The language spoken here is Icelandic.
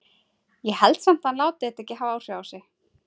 Ég held samt að hann láti þetta ekki hafa áhrif á sig.